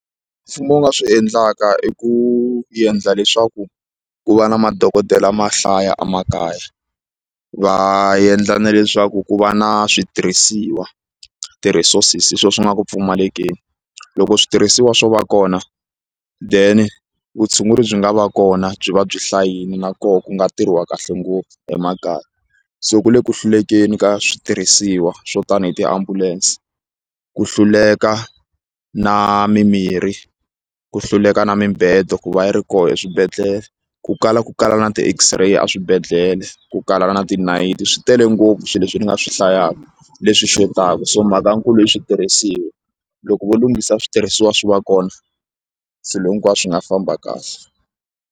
Mfumo wu nga swi endlaka i ku endla leswaku ku va na madokodela ma hlaya emakaya va endla na leswaku ku va na switirhisiwa ti-resources swilo swi nga ku pfumalekeni loko switirhisiwa swo va kona then vutshunguri byi nga va kona byi va byi hlayile na koho ku nga tirhiwa kahle ngopfu emakaya so ku le ku hlulekeni ka switirhisiwa swo tani hi tiambulense ku hluleka na mimirhi ku hluleka na mibedo ku va yi ri koho eswibedhlele ku kala ku kala na ti-X-Ray a swibedhlele ku kala na tinayiti swi tele ngopfu swilo leswi ni nga swi hlayaka leswi xotaka so mhaka nkulu i switirhisiwa loko vo lunghisa switirhisiwa swi va kona swilo hinkwaswo swi nga famba kahle.